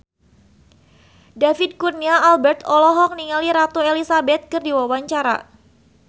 David Kurnia Albert olohok ningali Ratu Elizabeth keur diwawancara